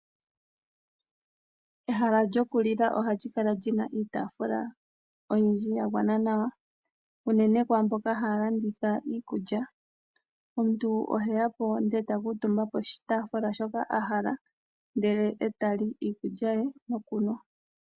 Ehala lyoku lila ohali kala lina iitafula oyindji yagwana nawa. Uunene kwaamboka haa landitha iikulya. Omuntu ohe yapo ndele ta kuutumba poshitaafula shoka a hala ndele eta li iikulya ye nokunwa.